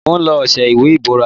Mo ń lo ọṣẹ ìwè ibóra.